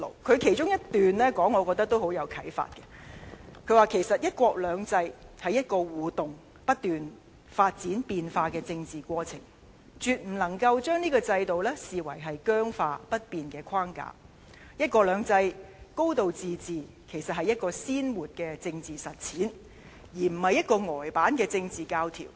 他指"一國兩制"其實是一個互動而不斷發展變化的政治過程，絕不能將這個制度視為僵化不變的框架；"一國兩制"、"高度自治"其實是一個鮮活的政治實踐，而不是一個呆板的政治教條。